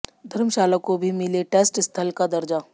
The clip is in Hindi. धर्मशाला को भी मिले टेस्ट स्थल का दर्जा